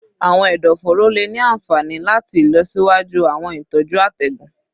Awọn ẹdọforo le ni anfani lati ilọsiwaju awọn itọju atẹgun